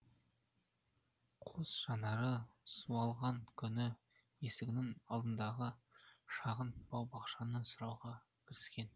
қос жанары суалған күні есігінің алдындағы шағын бау бақшаны суаруға кіріскен